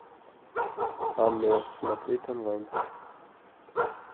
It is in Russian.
оно смотреть онлайн